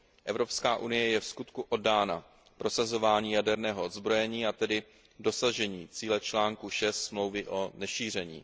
Evropská unie je vskutku oddána prosazování jaderného odzbrojení, a tedy dosažení cíle článku 6 Smlouvy o nešíření.